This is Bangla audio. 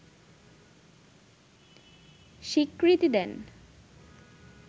স্বীকৃতি দেন